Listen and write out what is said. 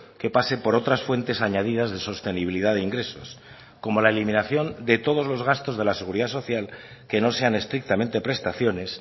que pase por otras fuentes añadidas de sostenibilidad de ingresos como la eliminación de todos los gastos de la seguridad social que no sean estrictamente prestaciones